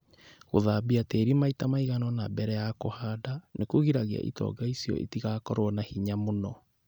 Gũthambia tĩĩri maita maigana ũna mbere ya kũhanda nĩ kũgiragia itonga icio itigakorũo na hinya mũno.